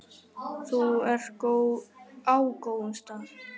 Þú ert á góðum stað.